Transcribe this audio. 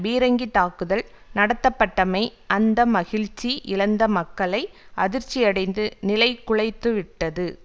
பீரங்கி தாக்குதல் நடத்தப்பட்டமை அந்த மகிழ்ச்சி இழந்த மக்களை அதிர்ச்சியடைந்து நிலைகுலைத்துவிட்டது